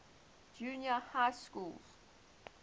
junior high schools